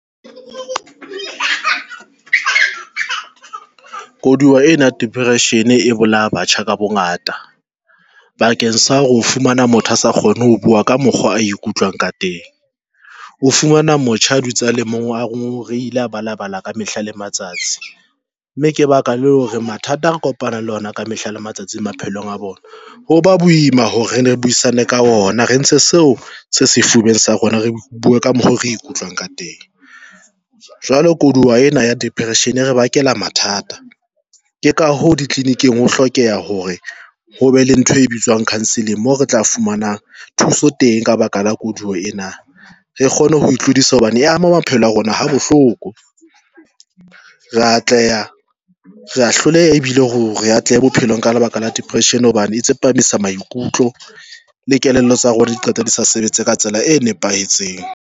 Koduwa ena ya depression e bolaya batjha ka bongata bakeng sa ho fumana motho a sa kgone ho bua ka mokgwa a ikutlwang ka teng, o fumana motjha a dutse a le mong a ngongorehile a balabala ka mehla le matsatsi, mme ke baka le hore mathata re kopana le ona ka mehla le matsatsi maphelong a bona. Hoba boima hore re ne re buisane ka ona, re ntshe seo se sefubeng sa rona, re bue ka mokgo re ikutlwang ka teng. Jwale koduwa ena ya depression e re bakela mathata. Ke ka ho ditleliniking ho hlokeha hore ho be le ntho e bitswang counselling moo re tla fumana thuso teng ka baka la koduwa ena. Re kgone ho tlodisa hobane e ama maphelo a rona ha bohloko re a atleha, re a hloleha ebile hore re atlehe bophelong ka lebaka la depression. Hobane e tsepamisa maikutlo le kelello tsa rona, diqeto di sa sebetse ka tsela e nepahetseng.